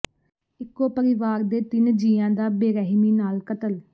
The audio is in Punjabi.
ਇੱਕੋ ਪਰਿਵਾਰ ਦੇ ਤਿੰਨ ਜੀਆਂ ਦਾ ਬੇਰਹਿਮੀ ਨਾਲ ਕਤਲ